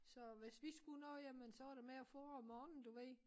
Så hvis vi skulle noget jamen så var det med at fodre om morgenen du ved